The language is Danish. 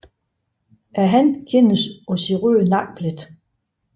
Hannen kendes på sin røde nakkeplet